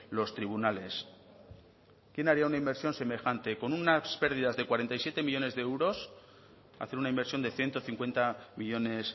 los tribunales quién haría una inversión semejante con unas pérdidas de cuarenta y siete millónes de euros hacer una inversión de ciento cincuenta millónes